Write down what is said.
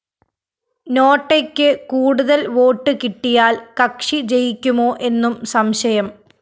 നോട്ടയ്ക്ക്‌ കൂടുതല്‍ വോട്ട്‌ കിട്ടിയാല്‍ കക്ഷി ജയിക്കുമോ എന്നും സംശയം